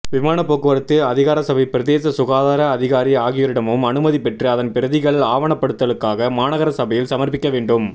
விமானப்போக்குவரத்து அதிகாரசபை பிரதேச சுகாதர அதிகாரி ஆகியோரிடமும் அனுமதி பெற்று அதன்பிரதிகள் ஆவணப்படுத்தலுக்காக மாநகர சபையில் சமர்ப்பிக்கவேண்டும்